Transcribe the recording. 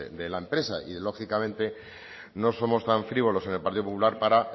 de la empresa y lógicamente no somos tan frívolos en el partido popular para